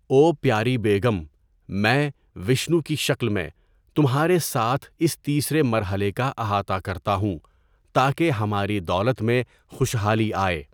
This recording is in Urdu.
او پیاری بیگم، میں، وشنو کی شکل میں، تمھارے ساتھ اس تیسرے مرحلے کا احاطہ کرتا ہوں تاکہ ہماری دولت میں خوشحالی آئے۔